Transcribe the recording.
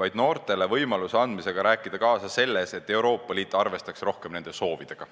vaid noortele võimaluse andmisega rääkida kaasa selles, et Euroopa Liit arvestaks rohkem nende soovidega.